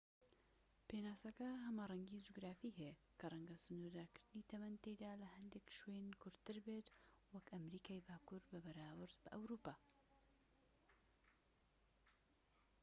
پێناسەکە هەمەڕەنگی جوگرافی هەیە کە ڕەنگە سنوورداری تەمەن تیایدا لە هەندێک شوێن کورتتر بیت وەک ئەمەریکای باکوور بەراورد بە ئەوروپا